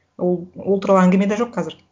ол туралы әңгіме де жоқ қазір